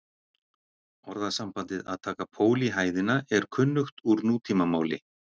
Orðasambandið að taka pól í hæðina er kunnugt úr nútímamáli.